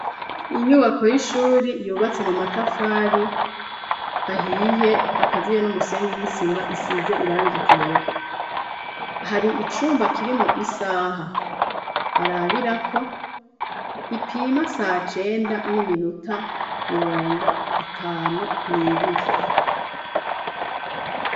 Inyubako y'ishuri yubatse mu matafari ahiye akaziye n'umusenyi n'isima isize irangi ryera hari icumba kirimwo isaha barabirako ipima sa cenda n'iminuta mirongo itanu n'ibiri.